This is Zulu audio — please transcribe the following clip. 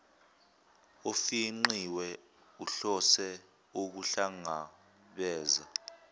ofingqiwe uhlose ukuhlangabeza